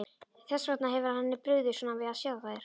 Þess vegna hefur henni brugðið svona við að sjá þær.